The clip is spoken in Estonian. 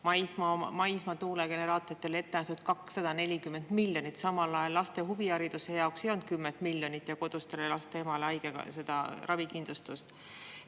Maismaa tuulegeneraatoritele on ette nähtud 240 miljonit, samal ajal ei olnud laste huvihariduse jaoks 10 miljonit koduse laste ema ravikindlustuseks.